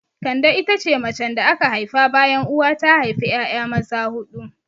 Kande ita ce macen da aka haifa bayan uwa ta haifa 'ya'ya maza huɗu.